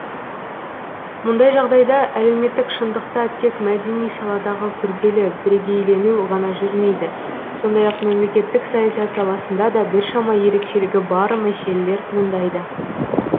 мұндай жағдайда әлеуметтік шындықта тек мәдени саладағы күрделі бірегейлену ғана жүрмейді сондай ақ мемлекеттік саясат саласында да біршама ерекшелігі бар мәселелер туындайды